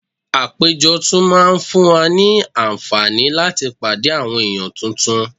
Àpéjọ tún máa ń fún wa ní àǹfààní láti pàdé àwọn ènìyàn tuntun